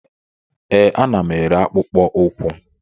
Ee, ana m ere akpụkpọ ụkwụ